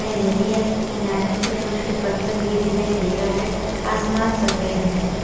किनारे में कुछ छोटे छोटे पत्थर भी दिखाई दे रहा है आसमान सफेद हैं।